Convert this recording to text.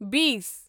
بیٖس